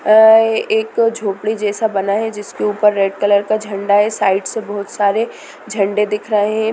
अ एक झोपड़ी जैसा बना है जिसके ऊपर रेड कलर का झंडा है साइड से बहुत सारे झंडे दिख रहे--